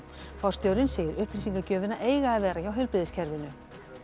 forstjórinn segir upplýsingagjöfina eiga að vera hjá heilbrigðiskerfinu